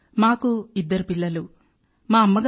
మా కుటుంబంలో ఇద్దరు పిల్లలు మేము ఉన్నాం